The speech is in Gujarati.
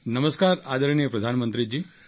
નમસ્કાર આદરણીય પ્રધાનમંત્રીજી